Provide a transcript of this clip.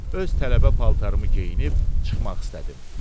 Öz tələbə paltarımı geyinib çıxmaq istədim.